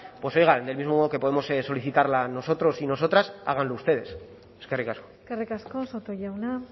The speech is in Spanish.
pues oiga del mismo modo que podemos solicitarla nosotros y nosotras háganlo ustedes eskerrik asko eskerrik asko soto jauna